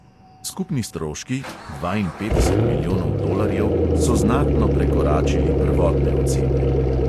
Skupni stroški – dvainpetdeset milijonov dolarjev – so znatno prekoračili prvotne ocene.